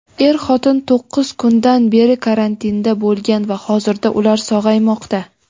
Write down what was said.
er-xotin to‘qqiz kundan beri karantinda bo‘lgan va hozirda ular sog‘aymoqda.